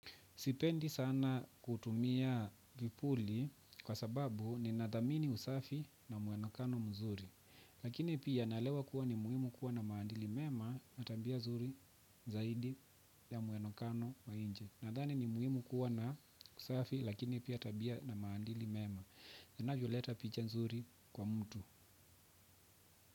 Sipendi sana kutumia vipuli kwa sababu ninathamini usafi na muonekano mzuri. Lakini pia naelewa kuwa ni muhimu kuwa na maadili mema na tabia zuri zaidi ya muonekano wa nje. Nadhani ni muhimu kuwa na usafi lakini pia tabia na maadili mema. Inavyo leta picha zuri kwa mtu.